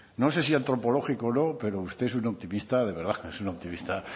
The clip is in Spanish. no sé si antropológico o no pero usted es un optimista de es un optimista